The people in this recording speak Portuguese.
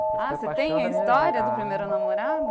Ah, você tem a história do primeiro namorado?